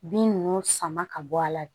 Bin ninnu sama ka bɔ a la